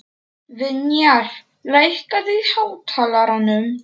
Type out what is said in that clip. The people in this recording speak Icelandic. Vinjar, lækkaðu í hátalaranum.